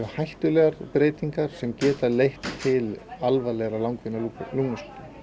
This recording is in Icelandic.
hættulegar breytingar sem geta leitt til alvarlegra langvinnra lungnasjúkdóma